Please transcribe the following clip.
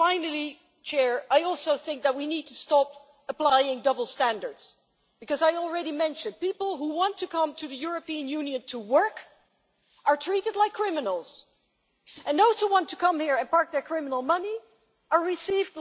But, finally, I also think that we need to stop applying double standards because, as I already mentioned, people who want to come to the European Union to work are treated like criminals, and those who want to come here and park their criminal money are received